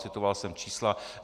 Citoval jsem čísla.